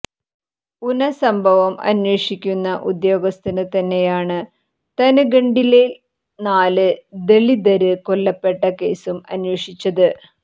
ഉന സംഭവം അന്വേഷിക്കുന്ന ഉദ്യോഗസ്ഥന് തന്നെയാണ് താന്ഗഡില് നാല് ദളിതര് കൊല്ലപ്പെട്ട കേസും അന്വേഷിച്ചത്